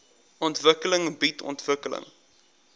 ontwikkeling bied ontwikkeling